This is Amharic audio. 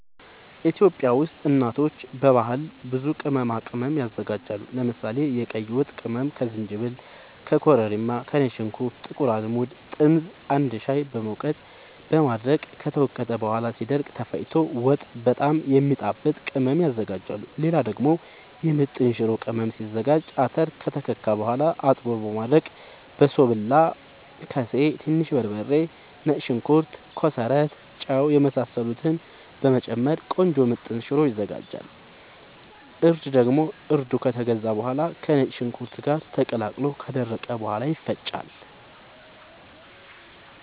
ኢትዮጵያ ውስጥ እናቶች በባህል ብዙ ቅመማ ቅመም ያዘጋጃሉ። ለምሳሌ፦ የቀይ ወጥ ቅመም ከዝንጅብል፣ ከኮረሪማ፣ ከነጭ ሽንኩርት፣ ጥቁር አዝሙድ፣ ጥምዝ አንድ ላይ በመውቀጥ በማድረቅ ከተወቀጠ በኋላ ሲደርቅ ተፈጭቶ ወጥ በጣም የሚያጣፋጥ ቅመም ያዝጋጃሉ። ሌላ ደግሞ የምጥን ሽሮ ቅመም ሲዘጋጅ :- አተር ከተከካ በኋላ አጥቦ በማድረቅ በሶብላ፣ ከሴ፣ ትንሽ በርበሬ፣ ነጭ ሽንኩርት፣ ኮሰረት፣ ጫው የመሳሰሉትን በመጨመር ቆንጆ ምጥን ሽሮ ይዘጋጃል። እርድ ደግሞ እርዱ ከተገዛ በኋላ ከነጭ ሽንኩርት ጋር ተቀላቅሎ ከደረቀ በኋላ ይፈጫል።